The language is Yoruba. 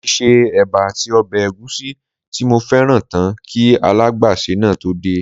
Mo ti se éba àti ọbẹ̀ ègúsí tí mo fẹ́ràn tán kí alágbàsè náà tó dé